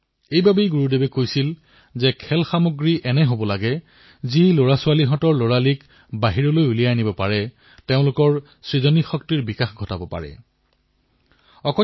সেইবাবে গুৰুদেৱে কৈছিল যে খেলাসামগ্ৰী এনে হব লাগে যি শিশুটিৰ শৈশৱ উজ্জীৱিত কৰি তোলে তেওঁলোকৰ সৃজনীশীলতা প্ৰকট কৰি তোলে